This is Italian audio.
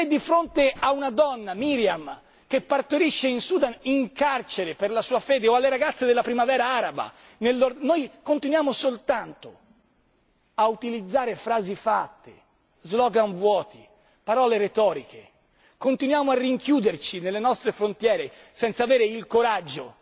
Se di fronte a una donna, Meriam, che partorisce in Sudan in carcere per la sua fede o alle ragazze della Primavera araba, noi continuiamo soltanto a utilizzare frasi fatte, slogan vuoti, parole retoriche, continuiamo a rinchiuderci nelle nostre frontiere senza avere il coraggio